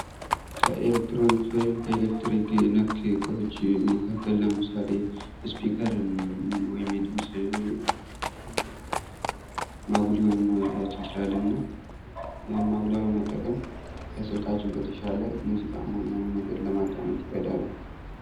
ኤለክትሮኒክስ ወይም ከኤለክትሪክ ነክ እቃወች መካከል ለምሳሌ ስፒከርን ወይም የድምጽ ማጉያውን መውሰድ እንችላለን እና ይሀን ማጉያውን መጠቀም ከስልካችን በተሻለ ሙዚቃም ሆነ የሆነ ነገር ለማዳመጥ ይረዳናል።